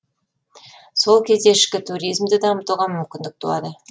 сол кезде ішкі туризмді дамытуға мүмкіндік туады